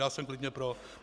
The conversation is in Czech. Já jsem klidně pro.